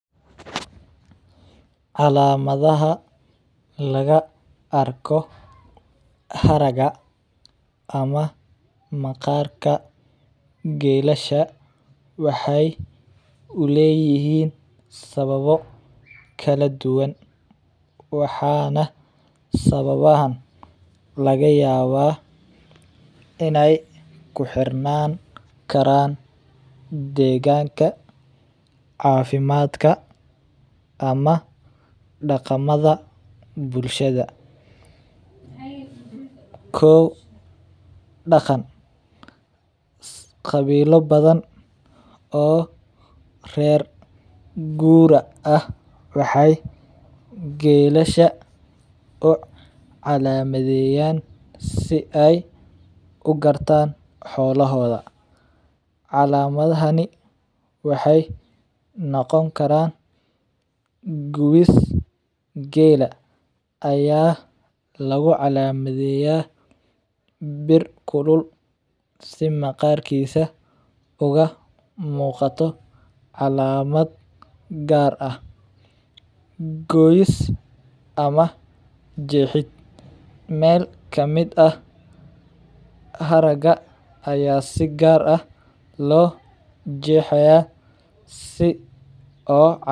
Calamadaha laga arko haraga ama maqaarka geelasha waxeey uleeyihiin sababo kala duban waxaana sababahan laga yaaba inaay kuxirnaan karaan deeganka, cafimaadka ama daqamada bulshada, kow, daqan qabiilo badan oo reer guura ah waxeey geelasha u calamadeeyan si aay ugartaan xoolahooda, calamadahani waxeey noqon karaan gubis geela ayaa lagu calamadeeya bir kulul si maqaarkiisa uga muuqato calamad gaar ah, gooyis ama jeexid meel kamid ah haraga ayaa si gaar ah loo jeexaya si oo calamad unoqoto.